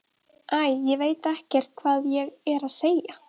Æ, ég veit ekkert hvað ég er að segja.